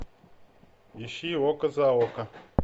ищи око за око